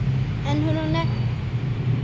En er hún ekki dýrari?